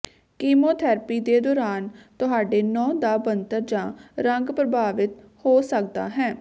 chemotherapy ਦੇ ਦੌਰਾਨ ਤੁਹਾਡੇ ਨਹੁੰ ਦਾ ਬਣਤਰ ਜਾਂ ਰੰਗ ਪ੍ਰਭਾਵਿਤ ਹੋ ਸਕਦਾ ਹੈ